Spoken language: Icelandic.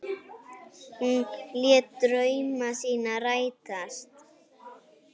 Hún lét drauma sína rætast.